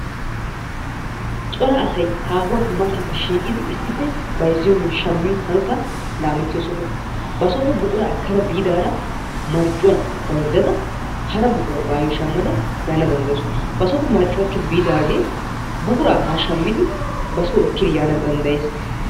Cora asay aahuwaappe mataappe shiqqiidi issippe bayzziyonne shammiyo hanotaa laamettiyo soho. Basoppe buquraa ekkada biidaara marccuwan mayzzada hara buquraa baayo shammada yaana danddayaawusu. Basooppe marccuwaa ekki biidaagee buquraara shammidi baso ekki yaana danddayees.